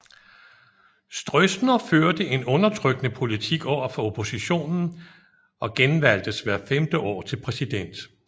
Stroessner førte en undertrykkende politik overfor oppositionen og genvalgtes hvert femte år til præsident